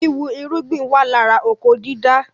Wíwì irúgbìn wà lára oko dídá